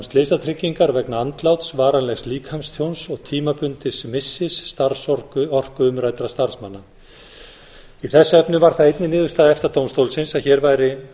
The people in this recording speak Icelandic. slysatryggingar vegna andláts varanlegs líkamstjóns og tímabundins missis starfsorku umræddra starfsmanna í þessu efni var það einnig niðurstaða efta dómstólsins að hér væri